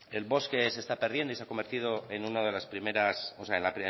el bosque se está perdiendo y se ha convertido en una de las primeras o sea